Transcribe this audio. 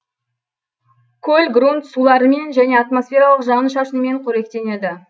көл грунт суларымен және атмосфералық жауын шашынмен қоректенеді